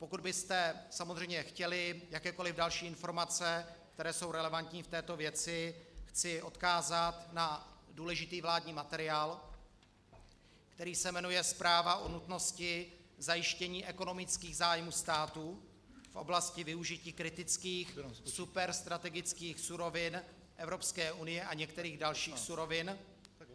Pokud byste samozřejmě chtěli jakékoli další informace, které jsou relevantní k této věci, chci odkázat na důležitý vládní materiál, který se jmenuje Zpráva o nutnosti zajištění ekonomických zájmů státu v oblasti využití kritických superstrategických surovin Evropské unie a některých dalších surovin.